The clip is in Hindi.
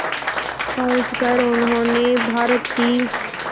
पहुंचकर उन्होंने भारत की